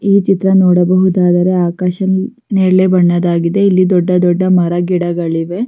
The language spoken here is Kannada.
ಈ ಚಿತ್ರ ನೋಡಬಹುದಾದರೆ ಆಕಾಶ ನೇರಳೆ ಬಣ್ಣದಾಗಿದೆ ಇಲ್ಲಿ ದೊಡ್ಡ ದೊಡ್ಡ ಮರ ಗಿಡಗಳಿವೆ.